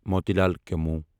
Moti Lal chemo